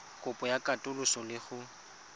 kopo ya katoloso le go